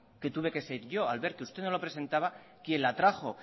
que tuve que ser yo al ver que usted no lo presentaba quien la trajo